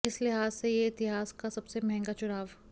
इस लिहाज से यह इतिहास का सबसे महंगा चुनाव